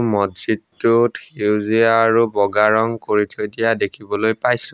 মছজিদটোত সেউজীয়া আৰু বগা ৰং কৰি থৈ দিয়া দেখিবলৈ পাইছোঁ।